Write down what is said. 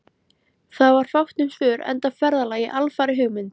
Það var fátt um svör, enda ferðalagið alfarið hugmynd